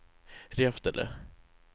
Reftele